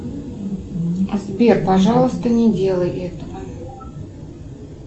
сбер пожалуйста не делай этого